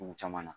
Dugu caman na